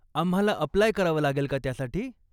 आम्हाला अप्लाय करावं लागेल का त्यासाठी?